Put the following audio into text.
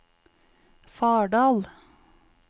Fardal